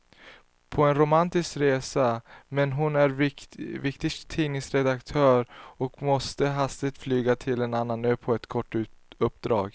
På romantisk resa, men hon är viktig tidningsredaktör och måste hastigt flyga till en annan ö för ett kort uppdrag.